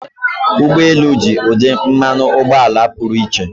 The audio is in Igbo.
Ụgbọ elu ji ụdị mmanụ ụgbọala pụrụ iche.